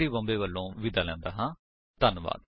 I I T Bombay ਵਲੋਂ ਮੈਂ ਹੁਣ ਤੁਹਾਡੇ ਤੋਂ ਵਿਦਾ ਲੈਂਦਾ ਹਾਂ